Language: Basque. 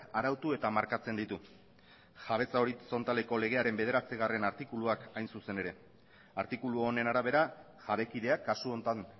arautu eta markatzen ditut jabetza horizontaleko legearen bederatzigarrena artikuluak hain zuzen ere artikulu honen arabera jabekideak kasu honetan